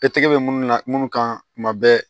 E tɛgɛ bɛ minnu na munnu ka kuma bɛ